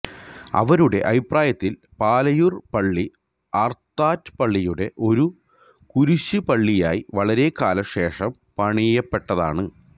അവരുടെ അഭിപ്രായത്തിൽ പാലയൂർ പള്ളി ആർത്താറ്റ് പള്ളിയുടെ ഒരു കുരിശുപള്ളിയായി വളരെ കാലം ശേഷം പണിയപ്പെട്ടതാണ്